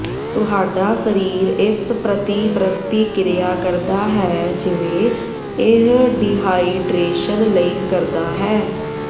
ਤੁਹਾਡਾ ਸਰੀਰ ਇਸ ਪ੍ਰਤੀ ਪ੍ਰਤੀਕ੍ਰਿਆ ਕਰਦਾ ਹੈ ਜਿਵੇਂ ਇਹ ਡੀਹਾਈਡਰੇਸ਼ਨ ਲਈ ਕਰਦਾ ਹੈ